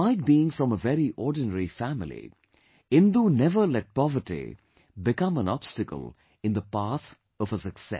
Despite being from a very ordinary family, Indu never let poverty become an obstacle in the path of her success